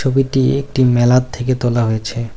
একটি মেলার থেকে তোলা হয়েছে।